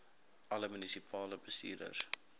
alle munisipale bestuurders